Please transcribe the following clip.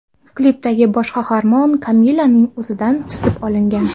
Klipdagi bosh qahramon Kamillaning o‘zidan chizib olingan.